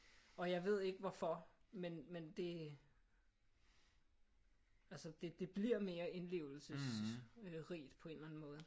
Og jeg ved ikke hvorfor men men det altså det det bliver mere indlevelsesrigt på en eller anden måde